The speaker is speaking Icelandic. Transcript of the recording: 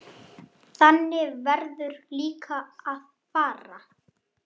Þannig verður líka að fara.